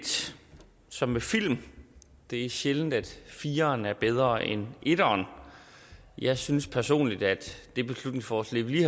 som med film det er sjældent at fireren er bedre end etteren jeg synes personligt at det beslutningsforslag vi